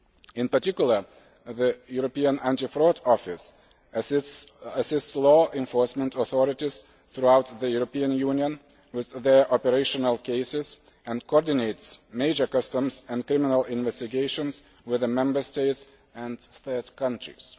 In particular, the European Anti Fraud Office assists law enforcement authorities throughout the European Union with their operational cases and coordinates major customs and criminal investigations with the Member States and third countries.